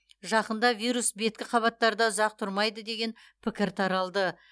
жақында вирус беткі қабаттарда ұзақ тұрмайды деген пікір таралды